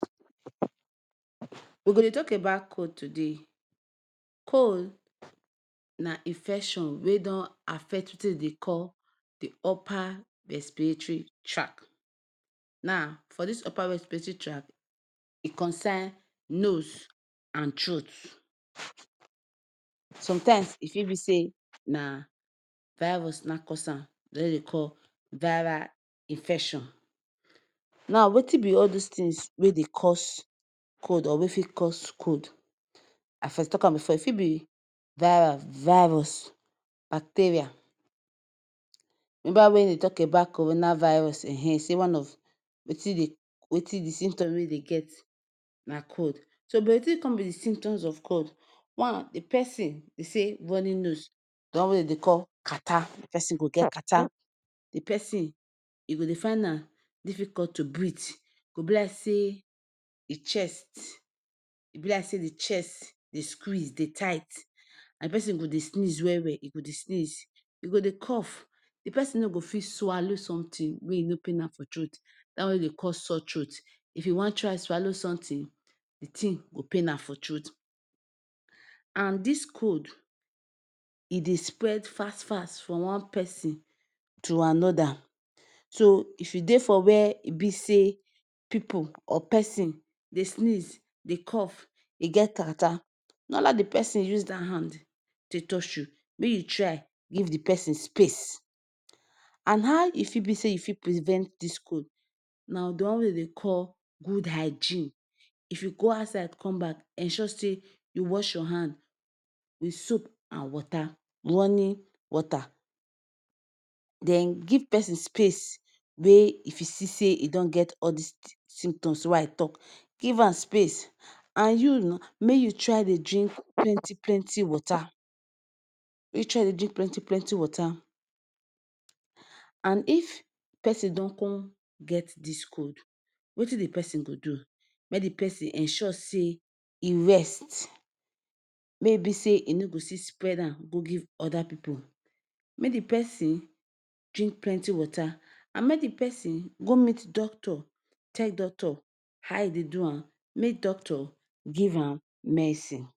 We go dey tok about cold today. Cold na infection wey don affect wetin dem dey call di upper respiratory track. Now for dis upper respiratory track, e concern nose and throat. Sometimes, e fit be say na virus na him cause am the one wey dem dey call viral infection. Now, wetin be all dis tins wey dey cause cold or wey fit cause cold? I first tok am bifor, e fit be virus, bacteria. Remember wen dem dey tok about corona virus, um say one of, wetin dey wetin be symptoms wey e dey get na cold. So Wetin come be di symptoms of cold? One, di first tin be say runny nose, di one wey dem dey call catarrh, the person go get catarrh, Di pesin e go dey find am difficult to breathe. E go be like say di chest e go be like say the chest dey squeeze, e dey tight. And di pesin go dey sneeze well well, em go dey sneeze, im go dey cough, di pesin no go fit swallow somtin wey no go pain am for throat dat one wey dem dey call sore throat. If e wan try swallow somtin, di tin go pain am for throat. And dis throat and dis cold e dey spread fast fast from one pesin to anoda. So if you dey for wia e be say people or pesin dey sneeze, dey cough, e get catarh no allow di pesin use dat hand take touch you. Make you try give di pesin space. And how e fit be say you fit prevent dis cold? Na di one wey dem dey call good hygiene. If you go outside come back, ensure say you wash your hand wit soap and water running water. Den give pesin space. Wey If you see say e don get all dis symptoms wey I tok, give am space. And you, make you try dey drink plenty plenty water. Make you dey try dey drink plenty plenty water. And if pesin don come get dis cold, wetin di pesin go do? Make di pesin ensure say e rest. Make e be say e no go fit spread am give oda pipu. Make di pesin drink plenty water, and make di pesin go meet doctor, tell doctor how e dey do am, make doctor give am medicine.